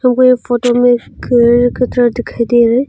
हमको ये फोटो में एक कटरा दिखाई दे रहा है।